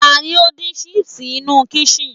ta ni o din sipsi inú kışın